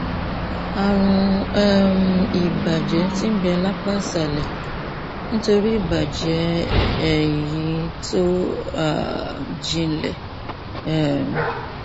ààrùn um ìbàjẹ tí ń bẹ lápá ìsàlẹ nítorí ìbàjẹ eyín tó um jinlẹ um